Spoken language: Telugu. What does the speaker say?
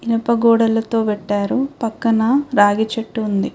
ఇనుప గోడలతో కట్టారు పక్కన రాగి చెట్టు ఉంది.